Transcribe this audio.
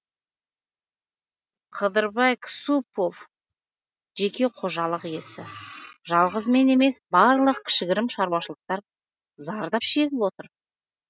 қыдырбай ксупов жеке қожалық иесі жалғыз мен емес барлық кішігірім шаруашылықтар зардап шегіп отыр